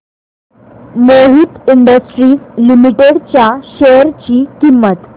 Mohit industries limited च्या share ची किंमत